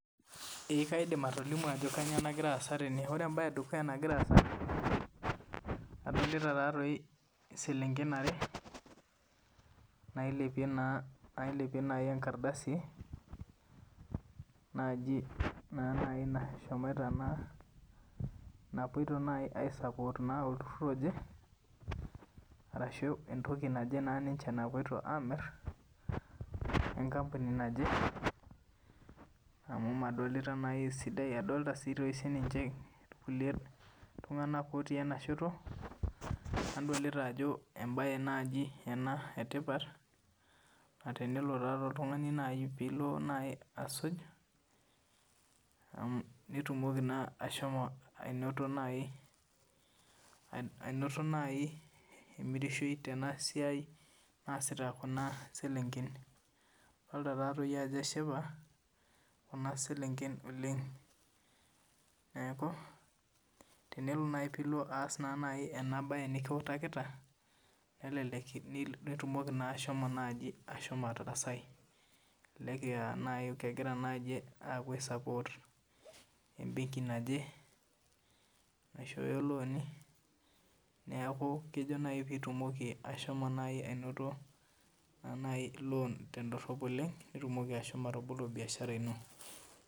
Ee kaidim atolimu Ajo kainyio nagira asaa tene adolita selenken are nailepie tenkardasi naaji naapuoito aisapot olturur oje ashu entoki naaje naapuoito amir enkampuni naaje amu nadolita esidai adolita sininye kulie tung'ana otii ena shoto nadolita Ajo mbae naaji etipat tenelo oltung'ani pilo asuj nitumoki naa ashomo anoto emirishoi Tena siai naasita Kuna selenken adolita Ajo eshipa Kuna selenken oleng neeku tenilo naaji aas enabaye nikiwutakini nelelek naa naaji ashomo atarasaki elelek aa kepuoito naaji aisapot ebenki naaje ashu looni neeku kejo pitumoki ashomo anoto loon tedorop oleng nitumoki ashomo atabolo biashara eno